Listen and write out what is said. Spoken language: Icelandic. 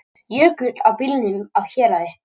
Jökull á bílunum á Héraði